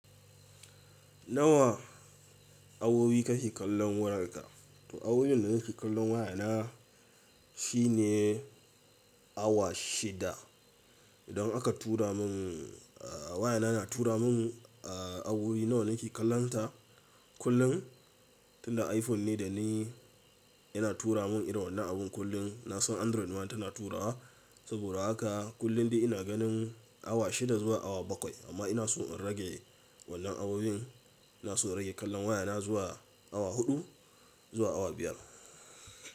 Nawa awowi ka ke kallon wayarka? To awowin da ni ke kallon wayana shine awa shida. Idan aka tura mun, a, wayana na tura mun, a, awowi nawa nake kallonta kullum, tunda iPhone ne da ni yana tura mun irin wannan abun kullum. Na san Android ma tana turawa. Saboda haka kullum dai ina ganin awa shida zuwa awa bakwai amma ina so in rage wannan awoyin Ina so in rage kallon wayana zuwa awa huɗu zuwa awa biyar.